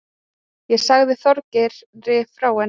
Ég sagði Þorgeiri frá henni.